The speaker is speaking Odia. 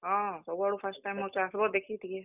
ହଁ, ସବୁ ଆଡୁ first time ହଉଛେ ଆସ୍ ବ ଦେଖି ଟିକେ।